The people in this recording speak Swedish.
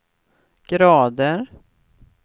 grader